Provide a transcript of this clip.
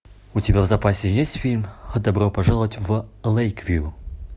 у тебя в запасе есть фильм добро пожаловать в лейквью